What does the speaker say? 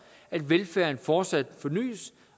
at velfærden fortsat fornys